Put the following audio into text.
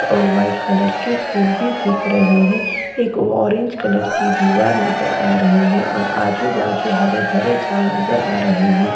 और white colour की फूल भी दिख रही है एक ऑरेंज कलर की दीवार नजर आ रही है और आजू बाजू हरे भरे झाड़ नज़र आ रहे है।